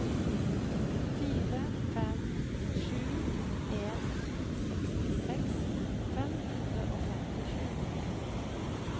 fire fem sju en sekstiseks fem hundre og femtisju